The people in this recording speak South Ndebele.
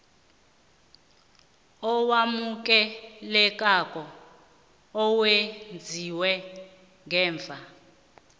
owamukelekako owenziwe ngemva